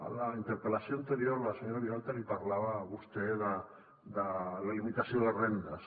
en la interpel·lació anterior la senyora vilalta li parlava a vostè de la limitació de rendes